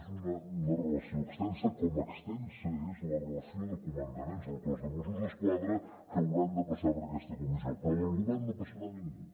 és una relació extensa com extensa és la relació de comandaments del cos de mossos d’esquadra que hauran de passar per aquesta comissió però del govern no hi passarà ningú